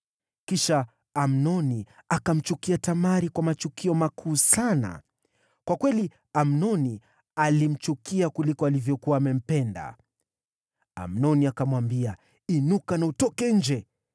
Kisha Amnoni akamchukia Tamari, kwa machukio makuu sana. Kwa kweli, Amnoni alimchukia kuliko alivyokuwa amempenda. Amnoni akamwambia, “Inuka na utoke nje!”